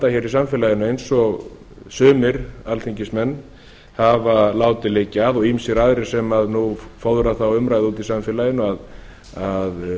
í samfélaginu eins og sumir alþingismenn hafa látið liggja að og ýmsir aðrir sem fóðra þá umræðu úti í samfélaginu að